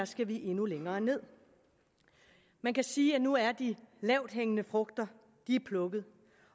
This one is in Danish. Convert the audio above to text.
skal vi endnu længere nederst man kan sige at nu er de lavthængende frugter plukket